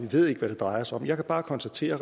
ved hvad det drejer sig om jeg kan bare konstatere